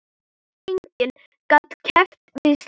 Enginn gat keppt við slíkt.